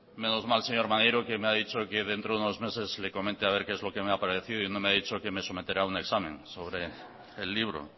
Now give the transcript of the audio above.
menos mal señor maneiro que me ha dicho que dentro de unos meses le comente a ver qué es lo que me ha parecido y no me ha dicho que me someterá un examen sobre el libro